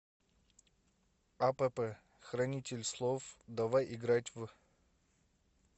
апп хранитель слов давай играть в